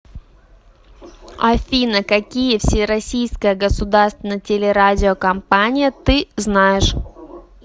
афина какие всероссийская государственная телерадиокомпания ты знаешь